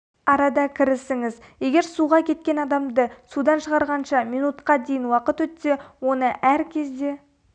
арада кірісіңіз егер суға кеткен адамды судан шығарғанша минутқа дейін уақыт өтсе оны әр кезде